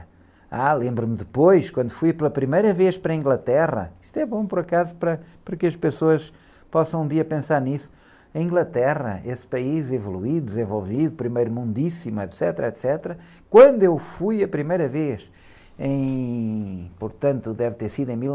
Ah, lembro-me depois, quando fui pela primeira vez para a Inglaterra, isto é bom, por acaso, para, para que as pessoas possam um dia pensar nisso, a Inglaterra, esse país evoluído, desenvolvido, primeiro mundíssimo, etecetera, etecetera Quando eu fui a primeira vez, em, portanto, deve ter sido em mil